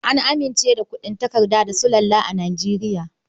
An amince da kuɗin takarda da sulalla a Nijeriya.